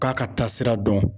K'a ka taa sira dɔn